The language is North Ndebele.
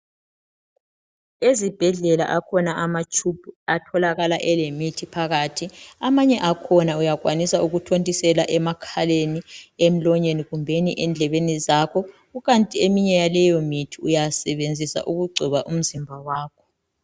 Ezibhedlela akhona amatshubhu atholakala elemithi phakathi. Amanye akhona uyakhwanisa ukuthontisela emakhaleni ,emlonyeni kumbeni endlebeni zakho . Kukanti eminye yaleyo mithi uyasebenzisa ukugcoba umzimba wakho.